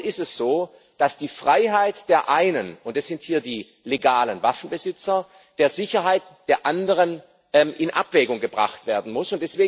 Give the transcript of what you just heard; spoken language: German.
Dennoch ist es so, dass die Freiheit der einen und das sind hier die legalen Waffenbesitzer mit der Sicherheit der anderen in Abwägung gebracht werden muss.